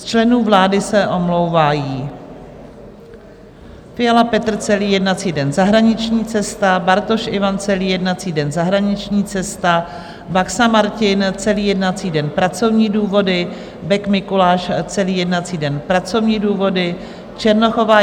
Z členů vlády se omlouvají: Fiala Petr celý jednací den - zahraniční cesta, Bartoš Ivan celý jednací den - zahraniční cesta, Baxa Martin celý jednací den - pracovní důvody, Bek Mikuláš celý jednací den - pracovní důvody, Černochová